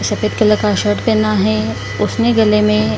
सफेद कलर का शर्ट पहना है उसने गले में --